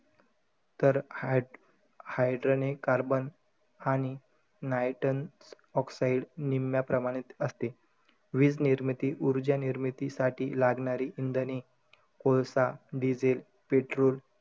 तर हाय~ hydrocarbon आणि niton oxide निम्म्या प्रमाणात असते. वीजनिर्मिती, उर्जा निर्मितीसाठी लागणारी इंधने, कोळसा, डिझेल, पेट्रोल,